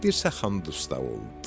Dirsəxan dustaq oldu.